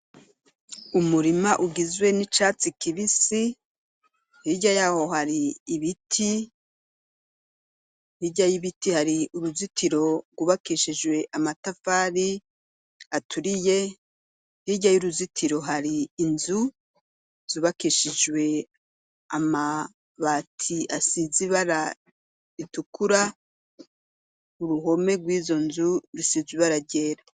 Umurima ugizwe n'icatsi kibisi hirya yaho hari ibiti, hirya y'ibiti hari uruzitoro gwubakishijwe amatafari aturiye hirya y'uruzitiro hari inzu zubakishijwe amabati asize ibara ritukura, uruhome gw'izonzu rusize ibara ryera.